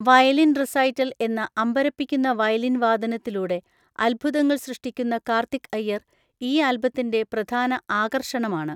Violin recital എന്ന അമ്പരപ്പിക്കുന്ന violin വാദനത്തിലൂടെ അത്ഭുതങ്ങൾ സൃഷ്ടിക്കുന്ന കാർത്തിക് അയ്യർ ഈ ആൽബത്തിൻ്റെ പ്രധാന ആകർഷണമാണ്.